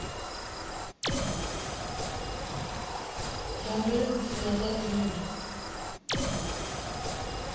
zwa mveledziso ya zwa dzinnu